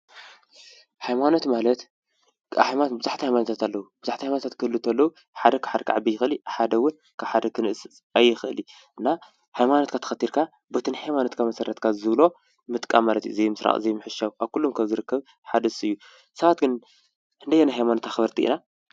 ሃይማኖት ማለት ብዙሕ ሃይማኖታት ኣለው ብዙሕ ሃይማኖታት እንትህልው ከለው ሓደ ካብ ሓደ ክዓቢ ሓደ ካብ ሓደ ክንእስ ኣይክሊይ። ሃይማኖትካ ተከትሊካ በቲ ናይ ሃይማኖትካ ዝብሎ መሰረት ምጥቃም ማለት እዩ። ዘይምስራቅ ዘይምሕሻው ኣብ ኩሎም ዝርከብ ሓደ ንሱ እዩ። ሰባት ግን ክንደየናይ ሃይማኖት ኣክበርቲ ኢና?